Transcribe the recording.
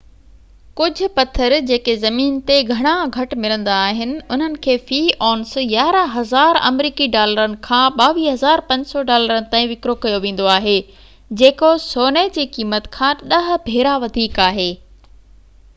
ڪجهه پٿر جيڪي زمين تي گهڻا گهٽ ملندا آهن انهن کي في اونس 11000 آمريڪي ڊالرن کان 22500 ڊالرن تائين وڪرو ڪيو ويندو آهي جيڪو سوني جي قيمت کان ڏهہ ڀيرا وڌيڪ آهي